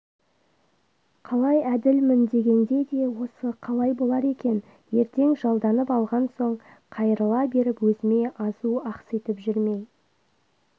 қалай әділмін дегенде де осы қалай болар екен ертең жалданып алған соң қайырыла беріп өзіме азу ақситып жүрмей